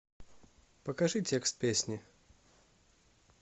покажи текст песни